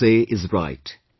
What you say is right